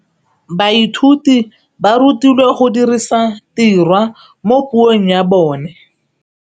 Baithuti ba rutilwe go dirisa tirwa mo puong ya bone.